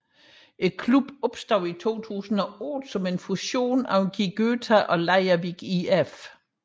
Klubben opstod i 2008 som en fusion af GÍ Gøta og Leirvík ÍF